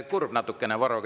Kurb natukene, Varro.